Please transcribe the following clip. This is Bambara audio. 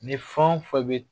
Ni fɛn o fɛn bɛ